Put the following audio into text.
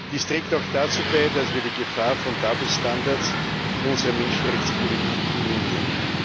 Dies trägt auch dazu bei, dass wir die Gefahr von double standards in unserer Menschenrechtspolitik minimieren.